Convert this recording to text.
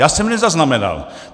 Já jsem je nezaznamenal.